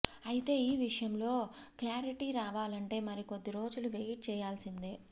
అయితే ఈ విషయంలో క్లారిటీ రావాలంటే మరికొద్ది రోజులు వెయిట్ చేయాల్సిందే